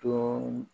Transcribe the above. Dɔɔni